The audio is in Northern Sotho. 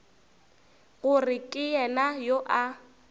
gore ke yena yo a